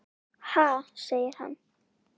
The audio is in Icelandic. Ha? segir hann.